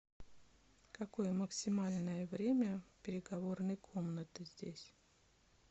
какое максимальное время переговорной комнаты здесь